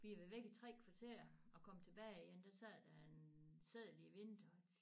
Vi var væk i 3 kvarter og kom tilbage igen der sad der en seddel i vinduet